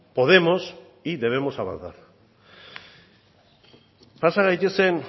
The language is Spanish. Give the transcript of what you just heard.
podemos y debemos avanzar pasa gaitezen